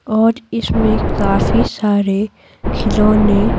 और इसमें काफी सारे खिलौने --